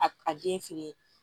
A a den feere